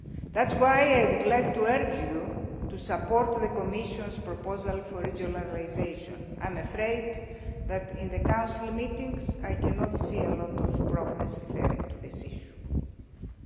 of you. That is why I would like to urge you to support the Commission's proposal for regionalisation. I am afraid that in the Council meetings I cannot see a lot of progress concerning this issue.